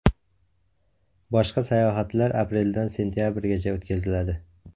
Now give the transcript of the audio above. Boshqa sayohatlar apreldan sentabrgacha o‘tkaziladi.